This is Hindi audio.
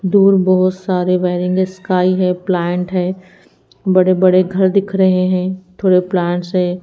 दूर बहुत सारे वायरिंग हैं स्काई है प्लांट है बड़े-बड़े घर दिख रहे हैं थोड़े प्लांट्स हैं।